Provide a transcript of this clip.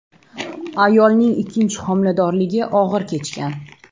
Ayolning ikkinchi homiladorligi og‘ir kechgan.